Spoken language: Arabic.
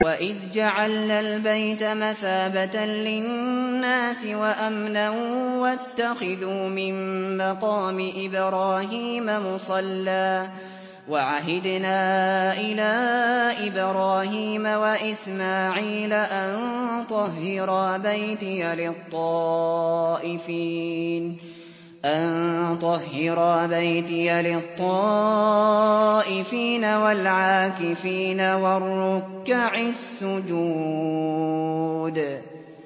وَإِذْ جَعَلْنَا الْبَيْتَ مَثَابَةً لِّلنَّاسِ وَأَمْنًا وَاتَّخِذُوا مِن مَّقَامِ إِبْرَاهِيمَ مُصَلًّى ۖ وَعَهِدْنَا إِلَىٰ إِبْرَاهِيمَ وَإِسْمَاعِيلَ أَن طَهِّرَا بَيْتِيَ لِلطَّائِفِينَ وَالْعَاكِفِينَ وَالرُّكَّعِ السُّجُودِ